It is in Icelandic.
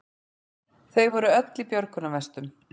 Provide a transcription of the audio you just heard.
Þau voru öll í björgunarvestum